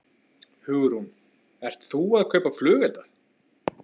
Hugrún: Ert þú að kaupa flugelda?